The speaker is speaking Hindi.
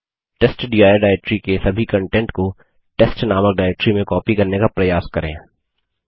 टेस्टडिर डाइरेक्टरी के सभी कन्टेंट को testनामक डाइरेक्टरी में कॉपी करने का प्रयास करें